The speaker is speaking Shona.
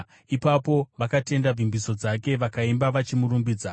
Ipapo vakatenda vimbiso dzake vakaimba vachimurumbidza.